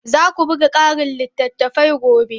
Za ku buga ƙarin littattafai gobe.